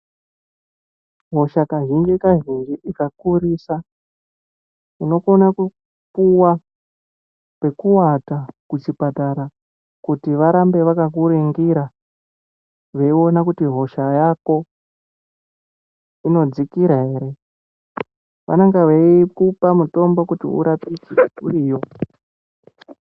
Hosha kazhinji-kazhinji ikakurisa unokona kupuva pekuvata kuchipatara kuti varambe vakakuringira veiona kuti hosha yako inodzikira ere. Vanonga veikupa mutombo kuti urapike uriyo.